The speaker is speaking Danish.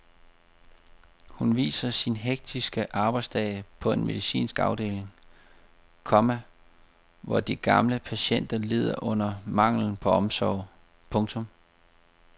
Hun viser sin hektiske arbejdsdag på en medicinsk afdeling, komma hvor de gamle patienter lider under manglen på omsorg. punktum